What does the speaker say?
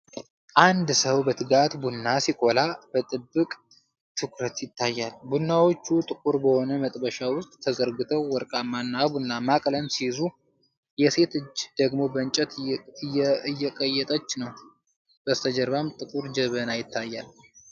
አንድ ሰው በትጋት ቡና ሲቆላ በጥብቅ ትኩረት ይታያል። ቡናዎቹ ጥቁር በሆነ መጥበሻ ውስጥ ተዘርግተው ወርቃማ እና ቡናማ ቀለም ሲይዙ፣ የሴት እጅ ደግሞ በእንጨት እየቀየጠች ነው። ከበስተጀርባም ጥቁር ጀበና ይታያል።